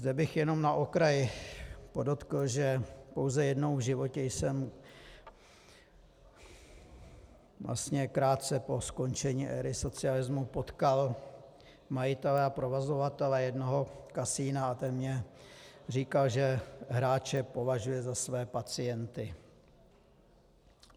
Zde bych jenom na okraj podotkl, že pouze jednou v životě jsem, vlastně krátce po skončení éry socialismu, potkal majitele a provozovatele jednoho kasina a ten mně říkal, že hráče považuje za své pacienty.